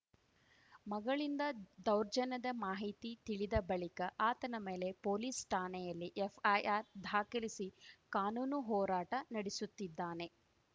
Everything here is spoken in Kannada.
ಮಗಳಿಂದ ದೌರ್ಜನ್ಯದ ಮಾಹಿತಿ ತಿಳಿದ ಬಳಿಕ ಆತನ ಮೇಲೆ ಪೊಲೀಸ್‌ ಠಾಣೆಯಲ್ಲಿ ಎಫ್‌ಐಆರ್‌ ಧಾಖಲಿಸಿ ಕಾನೂನು ಹೋರಾಟ ನಡೆಸುತ್ತಿದ್ದಾನೆ